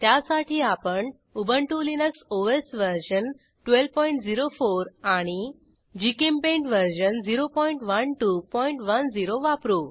त्यासाठी आपण Ubuntu Linux OS version 1204 आणि जीचेम्पेंट वर्जन 01210 वापरू